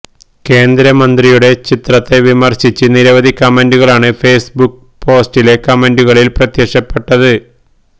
കേന്ദ്രമന്ത്രിയുടെ ചിത്രത്തെ വിമര്ശിച്ച് നിരവധി കമന്റുകളാണ് ഫേസ്ബുക്ക് പോസ്റ്റിലെ കമന്റുകളില് പ്രത്യക്ഷപ്പെട്ടത്